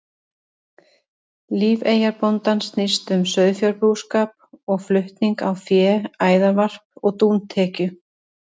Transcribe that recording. Líf eyjabóndans snýst um sauðfjárbúskap og flutning á fé, æðarvarp og dúntekju.